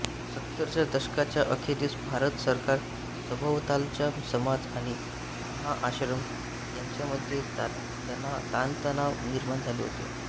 सत्तरच्या दशकाच्या अखेरीस भारत सरकार सभोवतालचा समाज आणि हा आश्रम यांच्यामध्ये ताणतणाव निर्माण झाले होते